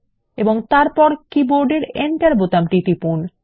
এবং তারপর কীবোর্ড এর এন্টার বোতামটি টিপুন